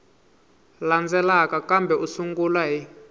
landzelaka kambe u sungula hi